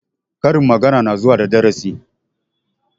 Karin magana na zuwa da darasi